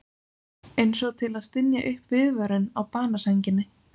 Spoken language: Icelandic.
Einsog til að stynja upp viðvörun á banasænginni.